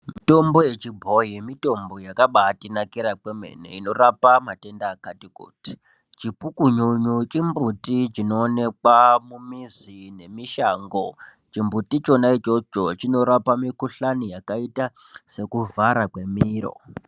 Mitombo yechibhoyi mitombo yakabatinakira kwemene inorapa matenda akati kuti. Chipukunyunyu chimbiti chinoonekwa mumizi nemishango. Chimbuti chona ichocho chinorapa mikhuhlane yakaita sekuvhara kwemiro.